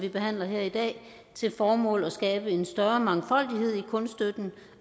vi behandler her i dag til formål at skabe en større mangfoldighed i kunststøtten